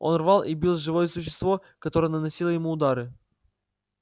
он рвал и бил живое существо которое наносило ему удары